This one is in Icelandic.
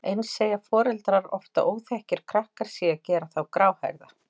Eins segja foreldrar oft að óþekkir krakkar séu að gera þá gráhærða.